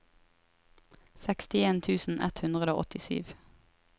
sekstien tusen ett hundre og åttisju